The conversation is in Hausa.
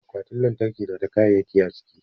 Akwatin lantarki na da kayayyaki a ciki.